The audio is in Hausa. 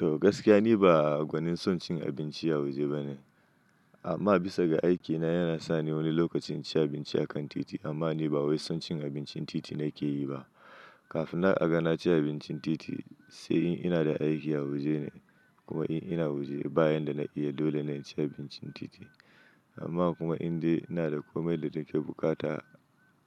Toh gaskiya, ni ba gwanin son cin abinci a waje ba ne. Amma bisa ga aikina yana sa ni wani lokacin ci abinci a kan titi, amma ni ba wai son cin abincin titi na ke yi ba. Kafinnan a ga na ci abincin titi, sai in ina da aiki a waje ne kuma in ina waje bayan da na iya, dole na ci abincin titi. Amma kuma indai ina da komai da nake bukata